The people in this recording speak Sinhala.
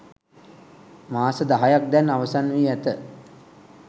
මාස දහයක් දැන් අවසන් වී ඇත.